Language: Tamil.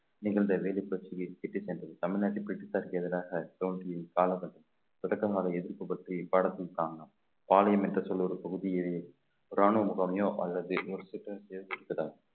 நிகழ்ந்த வேலிப்பட்டியில் இட்டுச் சென்றது தமிழ்நாட்டில் பிரிட்டிஷ்சாருக்கு எதிராக தோன்றி தொடக்கமாக எதிர்ப்பு பற்றி பாடத்தின் காரணம் பாளையம் என்ற சொல் ஒரு பகுதியிலே ராணுவ முகாமையோ அல்லது